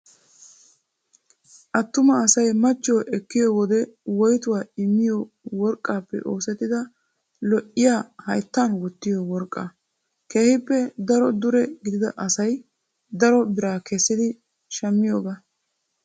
attuma asay machchiyoo ekkiyoode koyitaa immiyoo worqqaappe oosettida lo'iyaa hayittan wottiyo worqqaa. keehippe daro dure gidida asayi daro biraa kessidi shammiyoogaa.